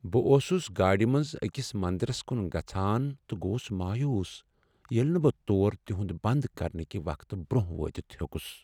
بہٕ اوسس گاڑِ منٛزأکس منٛدرس کن گژھان تہٕ گوس مایوٗس ییٚلہ نہٕ بہٕ تور تہنٛد بنٛد کرنہٕ كہِ وقتہٕ برٛۄنٛہہ وٲتتھ ہیوٚکس۔